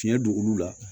Tiɲɛ don olu la